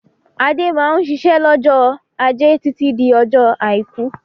Adé máa ń ṣiṣẹ́ lọ́jọ́ ajé títí di ọjọ́ àìkú.